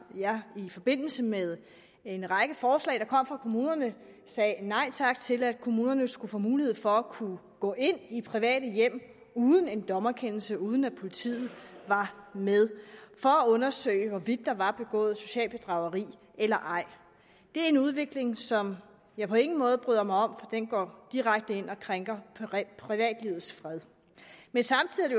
jeg i forbindelse med en række forslag der kom fra kommunerne sagde nej tak til at kommunerne skulle få mulighed for at kunne gå ind i private hjem uden en dommerkendelse uden at politiet var med for at undersøge hvorvidt der var begået socialt bedrageri eller ej det er en udvikling som jeg på ingen måde bryder mig om den går direkte ind og krænker privatlivets fred men samtidig er